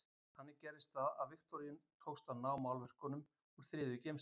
Þannig gerðist það að Viktoríu tókst að ná málverkunum úr þriðju geymslunni.